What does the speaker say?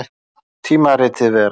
Tímaritið Vera.